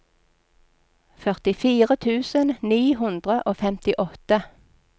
førtifire tusen ni hundre og femtiåtte